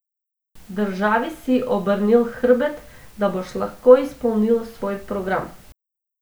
Državi si obrnil hrbet, da boš lahko izpolnil svoj program.